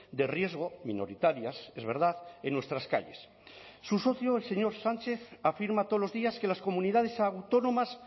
de riesgo minoritarias es verdad en nuestras calles su socio el señor sánchez afirma todos los días que las comunidades autónomas